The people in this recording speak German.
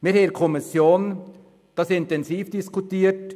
In der Kommission wurde dies intensiv diskutiert;